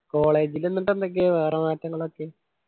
college ൽ എന്നിട്ട് എന്തൊക്കെയാ വേറെ മാറ്റങ്ങളൊക്കെ